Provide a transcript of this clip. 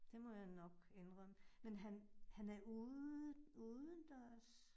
Det må jeg nok indrømme, men han han er ude udendørs